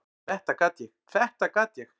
"""Þetta gat ég, þetta gat ég!"""